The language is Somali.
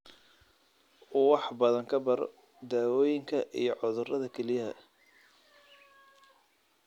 Wax badan ka baro daawooyinka iyo cudurrada kelyaha.